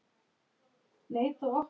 Þú mundir þetta allt saman.